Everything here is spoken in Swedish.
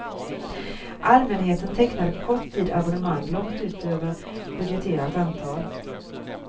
Allmänheten tecknade på kort tid abonnemang långt utöver budgeterat antal.